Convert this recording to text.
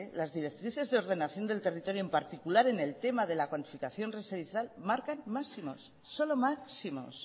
las directrices de ordenación del territorio en particular en el tema de la cuantificación residencial marcan máximos solo máximos